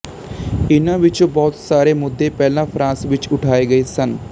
ਇਨ੍ਹਾਂ ਵਿੱਚੋਂ ਬਹੁਤ ਸਾਰੇ ਮੁੱਦੇ ਪਹਿਲਾਂ ਫਰਾਂਸ ਵਿੱਚ ਉਠਾਏ ਗਏ ਸਨ